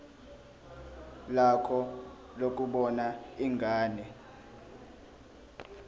lakho lokubona ingane